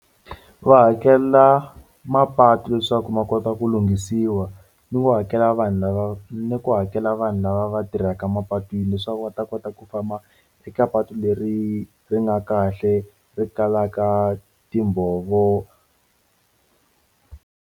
Va hakela mapatu leswaku ma kota ku lunghisiwa ni wo hakela vanhu lava ni ku hakela vanhu lava va tirhaka mapatwini leswaku va ta kota ku famba eka patu leri ri nga kahle ri kalaka timbhovo.